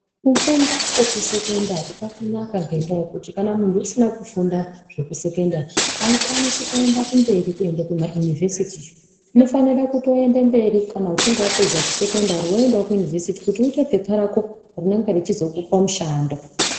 Kufunda kwekusekendari kwakanaka ngendaa yekuti kana muntu usina kufunda zvekusekendari aukwanisi kuenda kumberi kuenda kumaunivhesiti unofanira kutoende mberi kana uchinge wapedza kusekendari woendawo kuyunivhesiti kuti uite phepha rako rinenge rechizokupa mushando.